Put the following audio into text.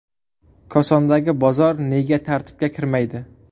Kosondagi bozor nega tartibga kirmaydi?.